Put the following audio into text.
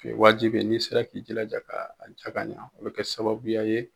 O ye waajibi ye, n'i sera k'i jilaja ka ja ka ɲɛ o bɛ kɛ sababuya ye.